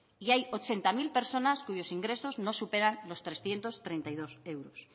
y hay ochenta mil personas cuyos ingresos no superan los trescientos treinta y dos euros